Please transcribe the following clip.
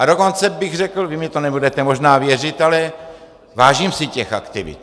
A dokonce bych řekl, vy mi to nebudete možná věřit, ale vážím si těch aktivit.